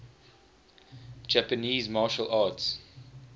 japanese martial arts